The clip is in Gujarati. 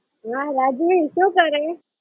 ના રાજવી શું કરે?